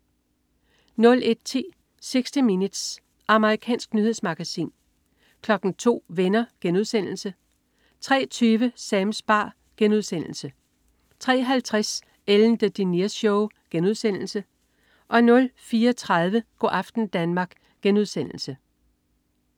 01.10 60 Minutes. Amerikansk nyhedsmagasin 02.00 Venner* 03.20 Sams bar* 03.50 Ellen DeGeneres Show* 04.30 Go' aften Danmark*